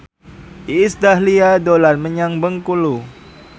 Iis Dahlia dolan menyang Bengkulu